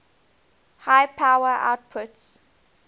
high power outputs